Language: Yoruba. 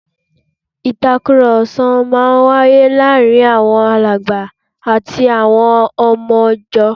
Ìtàkùrọ̀sọ máa wáyé láàárín Alàgbà àti àwọn ọmọ ìjọ